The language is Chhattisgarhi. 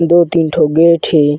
दो तीन ठो गेट हे।